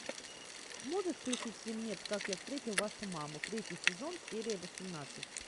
можешь включить фильмец как я встретил вашу маму третий сезон серия восемнадцать